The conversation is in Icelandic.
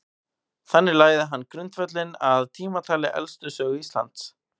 Þannig lagði hann grundvöllinn að tímatali elstu sögu Íslands.